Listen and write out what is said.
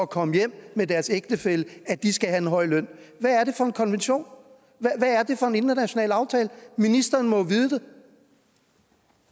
komme hjem med deres ægtefælle skal have en høj løn hvad er det for en konvention hvad er det for en international aftale ministeren må